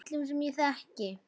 Og af öllum sem ég þekki.